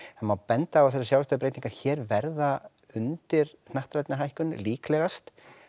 það má benda á að þessar sjávarstöðubreytingar hér verða undir hnattrænni hækkun líklegast